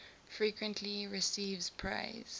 frequently receives praise